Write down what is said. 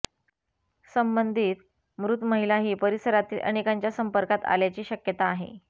संबंधीत मृत महिला ही परिसरातील अनेकांच्या संपर्कात आल्याची शक्यता आहे